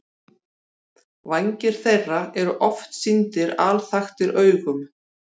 Vængir þeirra eru oft sýndir alþaktir augum.